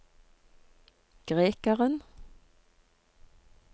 grekeren